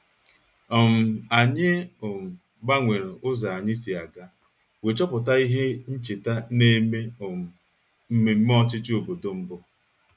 um Anyị um gbanwere ụzọ anyị si aga wee chọpụta ihe ncheta na-eme um mmemme ọchịchị obodo mbụ